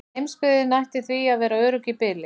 Heimsbyggðin ætti því að vera örugg í bili.